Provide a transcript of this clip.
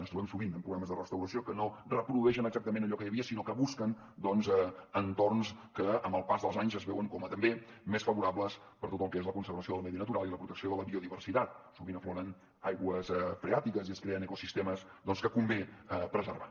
ens trobem sovint amb programes de restauració que no reprodueixen exactament allò que hi havia sinó que busquen doncs entorns que amb el pas dels anys es veuen com a també més favorables per a tot el que és la conservació del medi natural i la protecció de la biodiversitat sovint afloren aigües freàtiques i es creen ecosistemes doncs que convé preservar